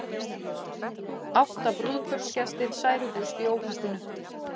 Átta brúðkaupsgestir særðust í óhappinu